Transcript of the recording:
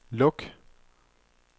luk